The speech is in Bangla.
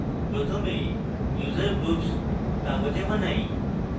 প্রথমে user groups কাগজে বানাই